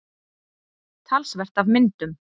Talsvert af myndum.